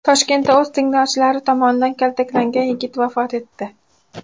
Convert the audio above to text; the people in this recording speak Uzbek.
Toshkentda o‘z tengdoshlari tomonidan kaltaklangan yigit vafot etdi.